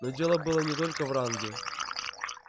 но дело было не только в ранге